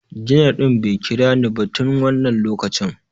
Janar ɗin bai kira ni ba tun wannan lokacin